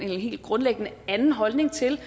helt grundlæggende anden holdning til